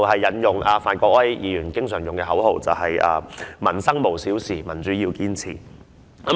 正如范國威議員經常使用的口號，"民生無小事，民主要堅持"。